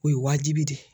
O ye wajibi de ye